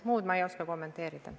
Muud ma ei oska kommenteerida.